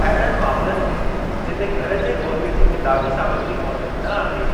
अहिड़नि मामलनि में जिते घर जे ॿोलीअ जी किताबी सामग्री मौजूद न आहे,